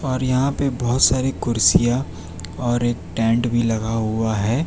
और यहां पे बहोत सारी कुर्सियां और एक टेंट भी लगा हुआ है।